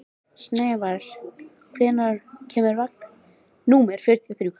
Snævarr, hvenær kemur vagn númer fjörutíu og þrjú?